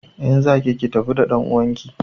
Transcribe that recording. In za ki ki tafi da ɗanuwanki!